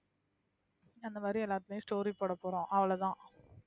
அந்த மாறி எல்லாத்தையுமே story போட போறோம் அவ்ளோதான்